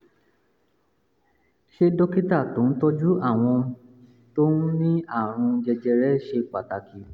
ṣé dókítà tó ń tọ́jú àwọn tó ní àrùn jẹjẹrẹ ṣe pàtàkì?